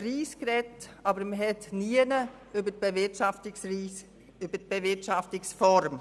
Es wurde über den Preis gesprochen, aber nie über die Bewirtschaftungsform.